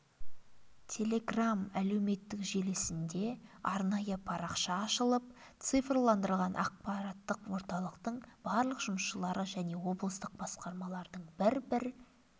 телеграм әлеуметтік желісінде арнайы парақша ашылып цифрландырылған ақпараттық орталықтың барлық жұмысшылары және облыстық басқармалардың бір-бір